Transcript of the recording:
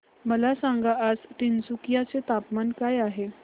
मला सांगा आज तिनसुकिया चे तापमान काय आहे